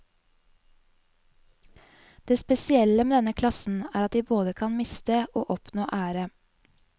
Det spesielle med denne klassen er at de både kan miste og oppnå ære.